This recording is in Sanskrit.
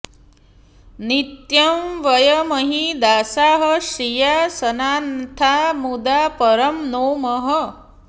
नित्यं वयमिह दासाः श्रिया सनाथा मुदा परं नौमः